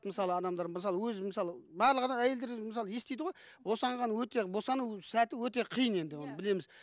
мысалы адамдар мысалы өзі мысалы барлық әйелдер мысалы естиді ғой босанған өте босану сәті өте қиын енді оны білеміз